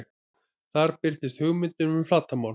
Þar birtist hugmyndin um flatarmál.